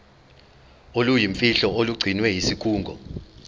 oluyimfihlo olugcinwe yisikhungo